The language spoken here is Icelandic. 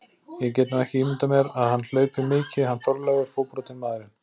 Ég get nú ekki ímyndað mér að hann hlaupi mikið hann Þorleifur, fótbrotinn maðurinn.